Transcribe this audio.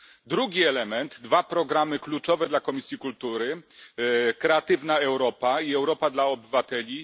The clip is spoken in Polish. Drugi element dwa programy kluczowe dla Komisji Kultury Kreatywna Europa i Europa dla obywateli.